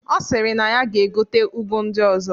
Ọ sịrị na ya ga-egote ụgụ ndị ọzọ